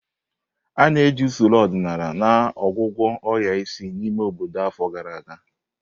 A na-eji usoro ọdịnala na ọgwụ agwọ ọrịa isi n'ime obodo afọ gara aga.